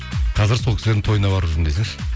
қазір сол кісілердің тойын барып жүрмін десеңші